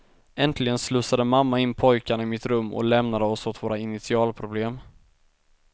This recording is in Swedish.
Äntligen slussade mamma in pojkarna i mitt rum och lämnade oss åt våra initialproblem.